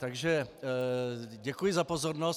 Takže děkuji za pozornost.